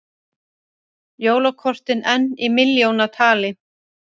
Jólakortin enn í milljónatali